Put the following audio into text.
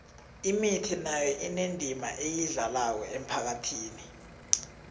imithi nayo inendima eyidlalako emphakhathini